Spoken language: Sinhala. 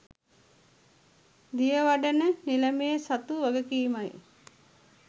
දියවඩන නිලමේ සතු වගකීමයි.